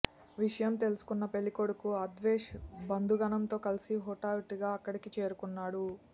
విషయం తెలుసుకున్న పెళ్లికొడుకు అద్వేష్ బంధుగణంతో కలిసి హుటాహటిన అక్కడికి చేరుకున్నాడు